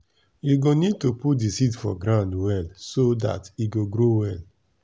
u go need to put the seed for ground well so dat e go grow well.